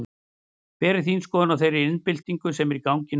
Hver er þín skoðun á þeirri iðnbyltingu sem er í gangi núna?